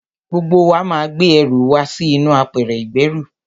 Gbogbo wa máa gbé ẹrù wa sí inú apẹ̀rẹ̀ ìgbẹ́rù.